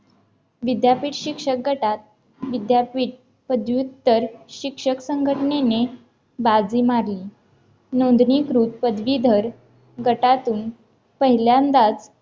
विद्यापीठ शिक्षक गटात विद्यापीठ पदवीधर शिक्षक संघटनेने बाजी मारली नोंदणीकृत पदवीधर गटातून पहिल्यांदाच